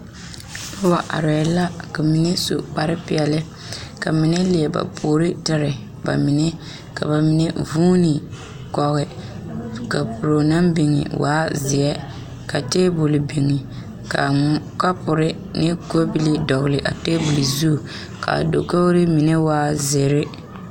Noba arɛɛ la ka mine su kpar peɛle ka mine are leɛ ba puori tere ba mine ka ba mine vuune koge kapuro naŋ biŋ waa zeɛ ka taabol biŋ ka kɔbilii ne ka pore dɔgele o zu kaa dakogri mine waa zeere